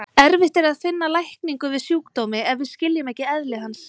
Erfitt er að finna lækningu við sjúkdómi ef við skiljum ekki eðli hans.